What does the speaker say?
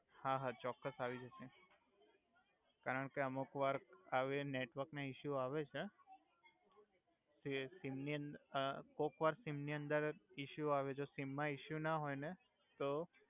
હા હા ચોક્કસ આવી જસે કારણ કે અમુક વાર આવી નેટવર્ક ના ઇસ્યુ આવે છે તે સિમની અંદર અ કોક વાર સિમની અંદર ઇસ્યુ આવિ જસે સિમ મા ઇસ્યુ ના હોય હોય ને તો